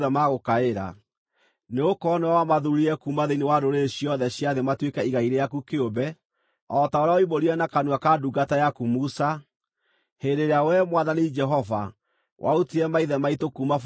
Nĩgũkorwo nĩwe wamathuurire kuuma thĩinĩ wa ndũrĩrĩ ciothe cia thĩ matuĩke igai rĩaku kĩũmbe, o ta ũrĩa woimbũrire na kanua ka ndungata yaku Musa, hĩndĩ ĩrĩa wee, Mwathani Jehova, warutire maithe maitũ kuuma bũrũri wa Misiri.”